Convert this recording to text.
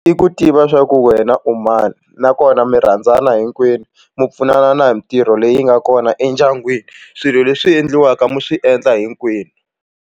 I ku tiva swa ku wena u mani nakona mi rhandzana hinkwenu mi pfunana na hi mintirho leyi nga kona endyangwini swilo leswi endliwaka mi swi endla hinkwenu.